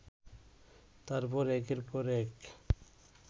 তারপর একের পর এক